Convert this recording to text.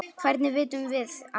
Hvernig vitum við það?